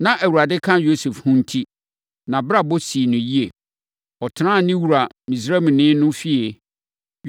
Na Awurade ka Yosef ho enti, nʼabrabɔ sii no yie. Ɔtenaa ne wura Misraimni no fie.